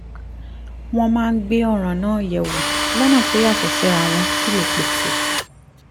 wọ́n máa ń gbé ọ̀ràn náà yẹ̀ wò lọ́nà tó yàtọ̀ síra wọ́n sì lè pèsè